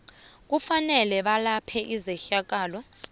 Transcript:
kufanele belaphe izehlakalo